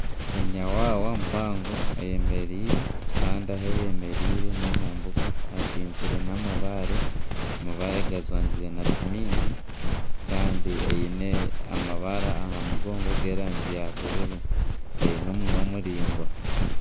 Enyawaawa mpango eyemereire kandi ahu eyemereire n'omumbuga etinzire n'amabaare, amabaare gajwangize na siminti kandi eine amabara aha mugongo g'erangi ya bururu eine omunwa muraingwa.